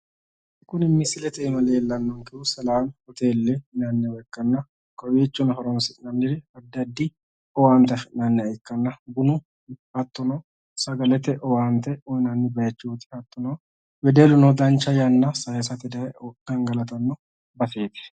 Kuni misilete iima leellannonkehu selaami hoteelle yinanniwa ikkanna kowiichono horoonsi'nanniri addi addi owaante afi'nanniha ikkanna bunu hattono sagalete owaante uyinanni bayichooti. Hattono wedelluno dancha yanna sayisate daye gangalatanno baseeti.